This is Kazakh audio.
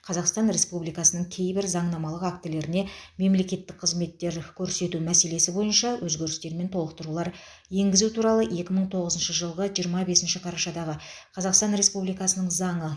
қазақстан республикасының кейбір заңнамалық актілеріне мемлекеттік қызметтер көрсету мәселелері бойынша өзгерістер мен толықтырулар енгізу туралы екі мың он тоғызыншы жылғы жиырма бесінші қарашадағы қазақстан республикасының заңы